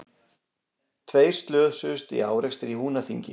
Tveir slösuðust í árekstri í Húnaþingi